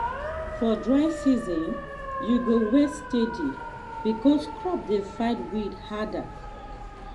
for dry season you go weed steady because crop dey fight weed harder.